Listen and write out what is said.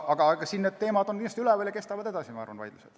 Aga need teemad on kindlasti üleval ja vaidlused kestavad edasi, ma arvan.